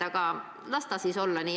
Aga las ta siis olla nii.